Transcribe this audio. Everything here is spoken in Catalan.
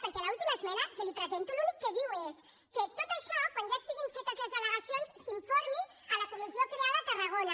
perquè l’última esmena que li presento l’únic que diu és que de tot això quan ja estiguin fetes les al·legacions s’informi la comissió creada a tarragona